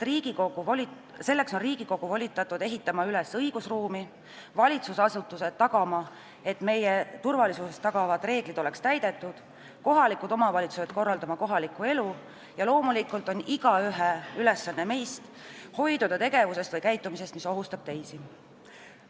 Selleks on Riigikogu volitatud ehitama üles õigusruumi, valitsusasutused on volitatud tagama, et turvalisust tagavad reeglid oleksid täidetud, kohalikud omavalitsused peavad korraldama kohalikku elu ja loomulikult on meist igaühe ülesanne hoiduda tegevusest või käitumisest, mis ohustab teisi.